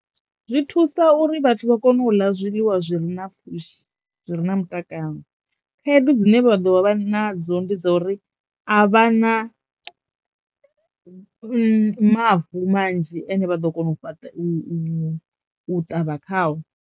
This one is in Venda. Zwi thusa uri vhathu vha kono u ḽa zwiḽiwa zwi re na pfhushi zwi re na mutakalo khaedu dzine vha ḓo vha nadzo ndi dza uri a vha na mavu manzhi ane vha ḓo kona u fhaṱa u u ṱavha khao.